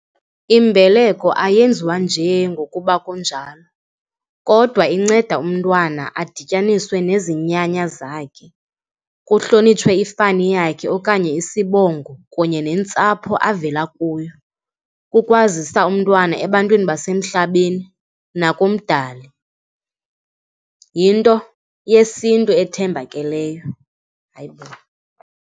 Imbeleko ayenziwa nje ngokuba kunjalo kodwa inceda umntwana adityaniswe nezinyanya zakhe, kuhlonitshwe ifani yakhe okanye isibongo kunye nentsapho avela kuyo, kukwazisa umntwana ebantwini basemhlabeni nakumdali. Yinto yesiNtu ethembakeleyo. Hayi bo.